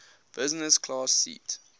business class seat